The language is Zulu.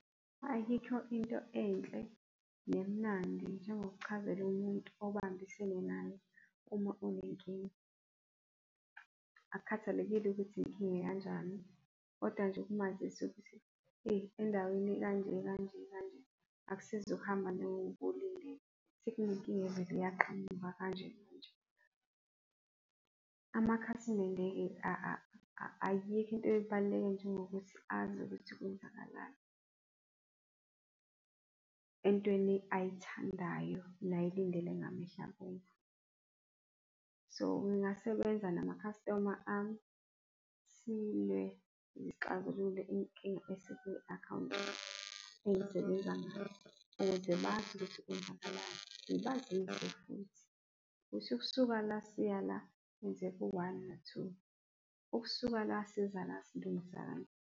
Ayikho into enhle nemnandi njengo ngokuchazela umuntu obambisene naye uma unenkinga. Akukhathalekile ukuthi inkinga ekanjani kodwa nje ukumazisa ukuthi endaweni ekanje akusizi ukuhamba njengoba ubulindile, sekunenkinga evele yaqhamuka kanje . Amakhasimende-ke ayikho into ebaluleke njengokuthi azi ukuthi kwenzakalani, entweni ayithandayo nayilindele ngamehlo abomvu. So, ngingasebenza nama customer ami, silwe, sixazulule inkinga esiku-akhawunti engisebenza ukuze bazi ukuthi kwenzakalani. Ngibazise futhi kusho ukusuka la siya la kwenzeka u-one no-two, ukusuka la siza la silungisani.